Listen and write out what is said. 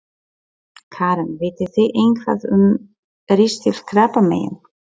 Karen: Vitið þið eitthvað um ristilkrabbamein?